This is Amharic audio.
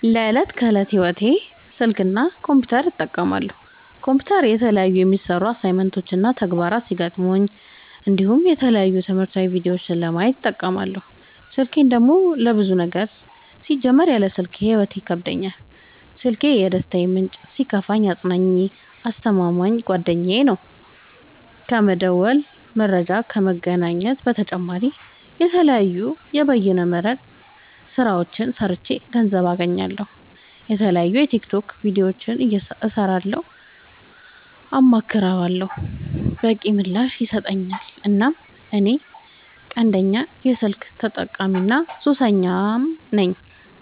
ለዕት ከዕለት ህይወቴ ስልክ እና ኮምፒውተር እጠቀማለሁ። ኮምፒውተር የተለያዩ የሚሰሩ አሳይመንት እና ተግባራት ሲገጥሙኝ እንዲሁም የተለያዩ ትምህርታዊ ቪዲዮዎችን ለማየት እጠቀምበታለው። ስልኬን ደግሞ ለብዙ ነገር ሲጀመር ያለ ስልኬ ህይወት ይከብደኛል። ስልኪ የደስታዬ ምንጭ ሲከፋኝ አፅናኜ አስተማማኝ ጓደኛዬ ነው። ከመደወል መረጃ ከመግኘት በተጨማሪ የተለያዩ የበይነ መረብ ስራዎችን ሰርቼ ገንዘብ አገኝበታለሁ። የተለያዩ የቲክቶክ ቪዲዮዎችን እሰራበታለሁ አማክረዋለሁ። በቂ ምላሽ ይሰጠኛል እናም እኔ ቀንደኛ የስልክ ተጠቀሚና ሱሰኛም ነኝ።